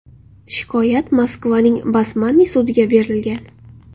Shikoyat Moskvaning Basmanniy sudiga berilgan.